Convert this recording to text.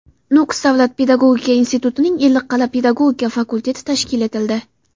Nukus davlat pedagogika institutining Ellikqal’a pedagogika fakulteti tashkil etildi.